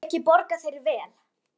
Og þar að auki borga þeir vel.